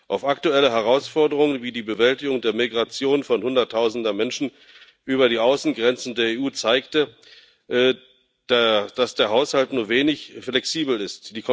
Auch aktuelle Herausforderungen wie die Bewältigung der Migration von Hunderttausenden Menschen über die Außengrenzen der EU zeigten, dass der Haushalt nur wenig flexibel ist.